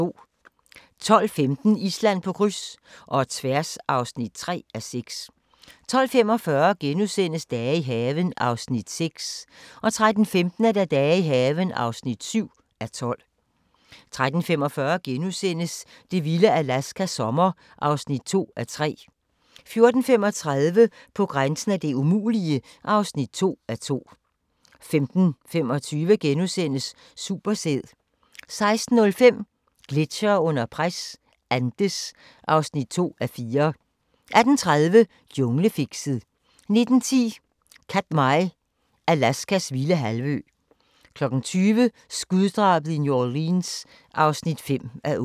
12:15: Island på kryds – og tværs (3:6) 12:45: Dage i haven (6:12)* 13:15: Dage i haven (7:12) 13:45: Det vilde Alaska – sommer (2:3)* 14:35: På grænsen af det umulige (2:2) 15:25: Supersæd * 16:05: Gletsjere under pres – Andes (2:4) 18:30: Junglefixet 19:10: Katmai – Alaskas vilde halvø 20:00: Skuddrabet i New Orleans (5:8)